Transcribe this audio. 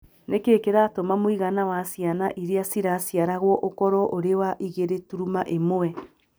Nĩ kĩĩ kĩratũma mũigana wa ciana iria ciraciaragwo ũkorũo ũrĩ wa 2.1?